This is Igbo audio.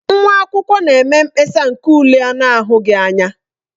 Nwa akwụkwọ na-eme mkpesa nke ule a na-ahụghị anya.